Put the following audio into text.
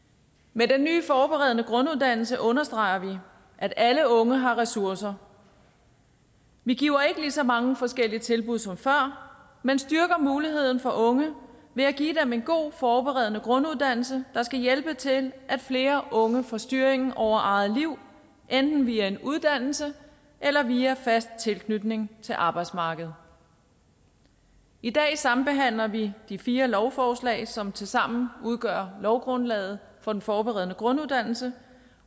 med den nye forberedende grunduddannelse understreger vi at alle unge har ressourcer vi giver ikke lige så mange forskellige tilbud som før men styrker muligheden for unge ved at give dem en god forberedende grunduddannelse der skal hjælpe til at flere unge får styringen over eget liv enten via en uddannelse eller via fast tilknytning til arbejdsmarkedet i dag sambehandler vi de fire lovforslag som tilsammen udgør lovgrundlaget for den forberedende grunduddannelse